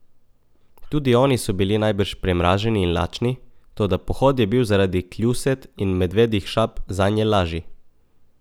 Tudi oni so bili najbrž premraženi in lačni, toda pohod je bil zaradi kljuset in medvedjih šap zanje lažji.